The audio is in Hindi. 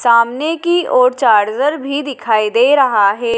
सामने की ओर चार्जर भी दिखाई दे रहा है।